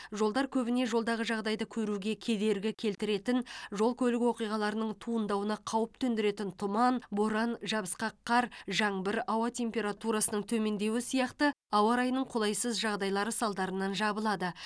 жолдар көбіне жолдағы жағдайды көруге кедергі келтіретін жол көлік оқиғаларының туындауына қауіп төндіретін тұман боран жабысқақ қар жаңбыр ауа температурасының төмендеуі сияқты ауа райының қолайсыз жағдайлары салдарынан жабылады